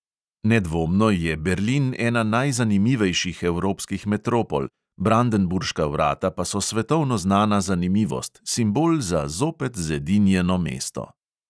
Nedvomno je berlin ena najzanimivejših evropskih metropol, brandenburška vrata pa so svetovno znana zanimivost, simbol za zopet zedinjeno mesto.